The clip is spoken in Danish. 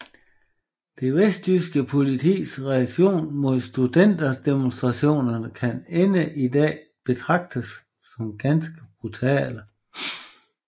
Det vesttyske politiets reaktion mod studenterdemonstrationerne kan i dag betragtes som ganske brutale